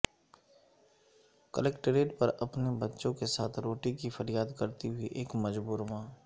collectorate پر اپنے بچوں کے ساتھ روٹی کی فریاد کرتی ہوئی ایک مجبور ماں